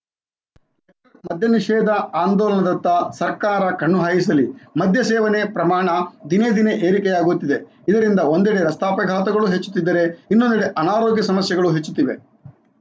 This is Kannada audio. ಮದ್ಯ ನಿಷೇಧ ಆಂದೋಲನದತ್ತ ಸರ್ಕಾರ ಕಣ್ಣು ಹಾಯಿಸಲಿ ಮಧ್ಯ ಸೇವನೆ ಪ್ರಮಾಣ ದಿನೇ ದಿನೇ ಏರಿಕೆಯಾಗುತ್ತಿದೆ ಇದರಿಂದ ಒಂದಡೆ ರಸ್ತೆ ಅಪಘಾತಗಳು ಹೆಚ್ಚುತ್ತಿದ್ದರೆ ಇನ್ನೊಂದಡೆ ಅನಾರೋಗ್ಯ ಸಮಸ್ಯೆಗಳೂ ಹೆಚ್ಚುತ್ತಿವೆ